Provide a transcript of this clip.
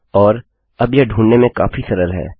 और अब यह ढूँढने में काफी सरल है